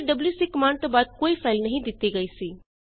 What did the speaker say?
ਇੱਥੇ WC command ਤੋਂ ਬਾਅਦ ਕੋਈ ਫਾਈਲ ਨਹੀਂ ਦਿੱਤੀ ਗਈ ਸੀ